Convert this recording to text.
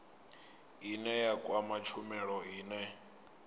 ine ya kwama tshumelo ine